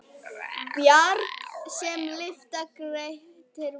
Bjarg sem lyfta Grettir vann.